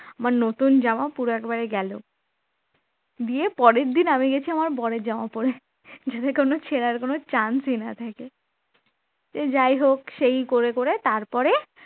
আমার নতুন জামা পুরো একবারে গেল গিয়ে পরের দিন আমি গেছি আমার বরের জামা পড়ে যাতে কোন ছেঁড়ার কোন chance না থাকে সে যাই হোক সেই করে করে তারপরে